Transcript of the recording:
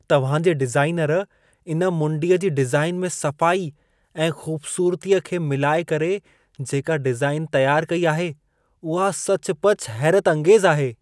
तव्हां जे डिज़ाइनर इन मुंडीअ जी डिज़ाइन में सफ़ाई ऐं ख़ूबसूरतीअ खे मिलाए करे, जेका डिज़ाइन तयारु कई आहे उहा सचुपचु हैरतअंगेज़ आहे।